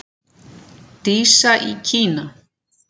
Dísa í Kína.